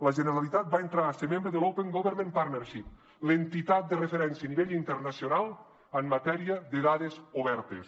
la generalitat va entrar a ser membre de l’open government partnership l’entitat de referència a nivell internacional en matèria de dades obertes